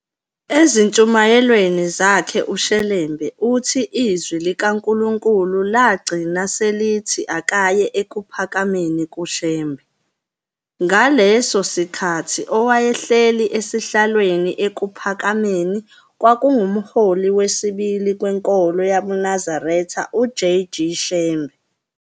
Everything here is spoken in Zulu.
Ezintshumayelweni zakhe uShelembe uthi izwi likaNkulunkulu lagcina selithi akaye eKuphakameni kuShembe. Ngaleso sikhathi owayehleli esihlalweni eKuphakameni kwakungumholi wesibili kwenkolo yabuNazaretha u-J. G. Shembe